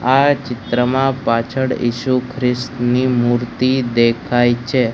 આ ચિત્રમાં પાછડ ઇસુ ખ્રિસ્તની મૂર્તિ દેખાય છે.